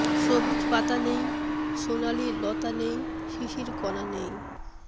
সবুজ পাতা নেই সোনালি লতা নেই শিশির কণা নেই